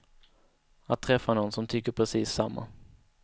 Att träffa nån som tycker precis samma.